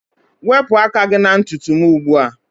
Wepụ aka gị na ntutu m ugbu a